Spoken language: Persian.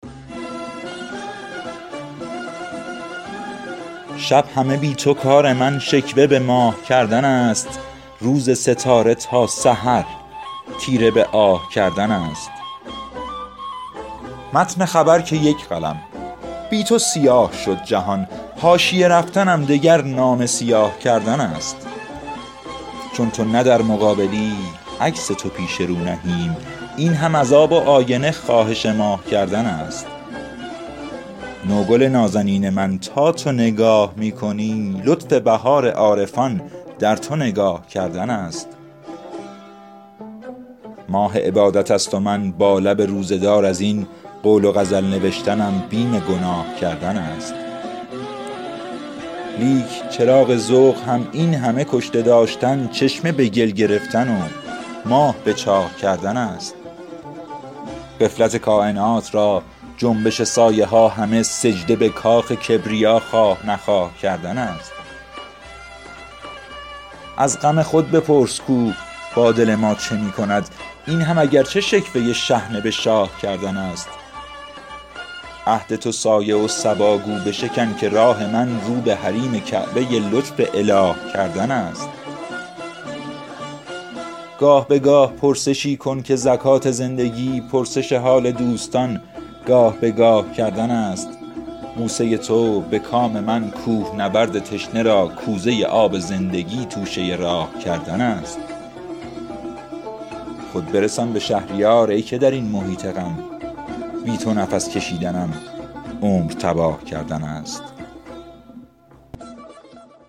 شب همه بی تو کار من شکوه به ماه کردن است روز ستاره تا سحر تیره به آه کردن است متن خبر که یک قلم بی تو سیاه شد جهان حاشیه رفتنم دگر نامه سیاه کردن است چون تو نه در مقابلی عکس تو پیش رو نهیم این هم از آب و آینه خواهش ماه کردن است نو گل نازنین من تا تو نگاه می کنی لطف بهار عارفان در تو نگاه کردن است لوح خدا نمایی و آیینه تمام قد بهتر از این چه تکیه بر منصب و جاه کردن است ماه عبادت است و من با لب روزه دار از این قول و غزل نوشتنم بیم گناه کردن است لیک چراغ ذوق هم این همه کشته داشتن چشمه به گل گرفتن و ماه به چاه کردن است من همه اشتباه خود جلوه دهم که آدمی از دم مهد تا لحد در اشتباه کردن است غفلت کاینات را جنبش سایه ها همه سجده به کاخ کبریا خواه نخواه کردن است از غم خود بپرس کو با دل ما چه می کند این هم اگرچه شکوه شحنه به شاه کردن است عهد تو سایه و صبا گو بشکن که راه من رو به حریم کعبه لطف اله کردن است گاه به گاه پرسشی کن که زکات زندگی پرسش حال دوستان گاه به گاه کردن است بوسه تو به کام من کوهنورد تشنه را کوزه آب زندگی توشه راه کردن است خود برسان به شهریار ای که در این محیط غم بی تو نفس کشیدنم عمر تباه کردن است